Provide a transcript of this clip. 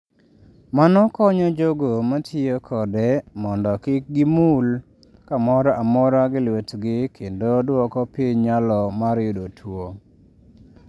Mano konyo jogo ma tiyo kode mondo kik gimulo kamoro amora gi lwetgi kendo dwoko piny nyalo mar yudo tuwo.